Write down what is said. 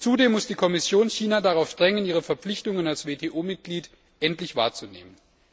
Zudem muss die Kommission China dazu drängen, seine Verpflichtungen als WTO Mitglied endlich wahrzunehmen.